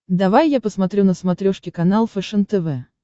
давай я посмотрю на смотрешке канал фэшен тв